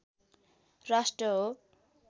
राष्ट्र हो